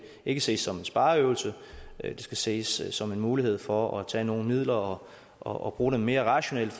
ikke ses som en spareøvelse det skal ses som en mulighed for at tage nogle midler og og bruge dem mere rationelt